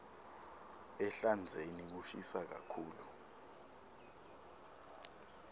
ehlandzeni kushisa kakhulu